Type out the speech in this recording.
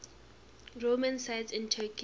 roman sites in turkey